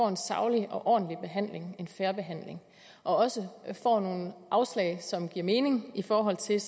en saglig ordentlig og fair behandling og også får nogle afslag som giver mening i forhold til